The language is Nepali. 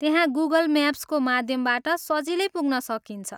त्यहाँ गुगल म्याप्सको माध्यमबाट सजिलै पुग्न सकिन्छ।